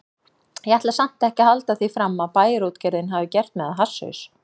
Ég ætla samt ekki að halda því fram að Bæjarútgerðin hafi gert mig að hasshaus.